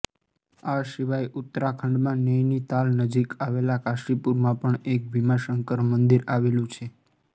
આ સિવાય ઉત્તરાખંડમાં નૈનીતાલ નજીક આવેલા કાશીપુરમાં પણ એક ભીમાશંકર મંદિર આવેલું છે